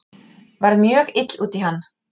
Varð mjög ill út í hann